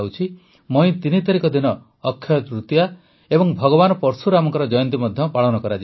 ମଇ ୩ ତାରିଖ ଦିନ ଅକ୍ଷୟ ତୃତୀୟା ଓ ଭଗବାନ ପର୍ଶୁରାମଙ୍କ ଜୟନ୍ତୀ ମଧ୍ୟ ପାଳିତ ହେବ